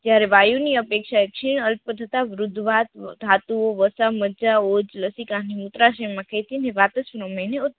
વાયુ ની અપેક્ષાયે છે અર્ધ પર્તતા વૃદ્ધવાત ધાતુઓ વાસા મજજા હોજ લસીકામીની મૂત્રાશય માં